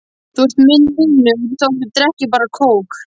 Þú ert minn vinur þótt þú drekkir bara kók.